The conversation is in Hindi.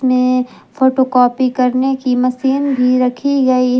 में फोटो कॉपी करने की मशीन भी रखी गई--